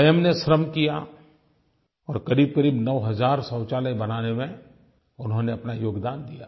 स्वयं ने श्रम किया और क़रीबक़रीब 9 हज़ार शौचालय बनाने में उन्होंने अपना योगदान दिया